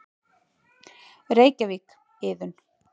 Reykjavík: Iðunn.